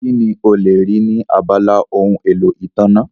Kí ni o lè rí ní abala ohun èlò ìtànná?